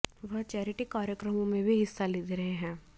वह चैरिटी कार्यक्रमों में भी हिस्सा लेते रहे हैं